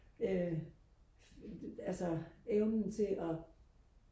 øh altså evnen til og